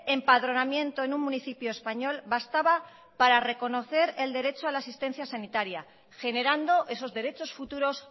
empadronamiento en un municipio español bastaba para reconocer el derecho a la asistencia sanitaria generando esos derechos futuros